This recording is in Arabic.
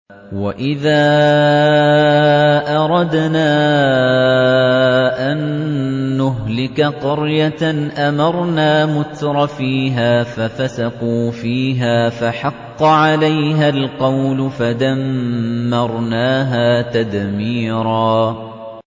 وَإِذَا أَرَدْنَا أَن نُّهْلِكَ قَرْيَةً أَمَرْنَا مُتْرَفِيهَا فَفَسَقُوا فِيهَا فَحَقَّ عَلَيْهَا الْقَوْلُ فَدَمَّرْنَاهَا تَدْمِيرًا